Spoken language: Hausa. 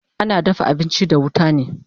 Ana dafa abinchi da wuta ne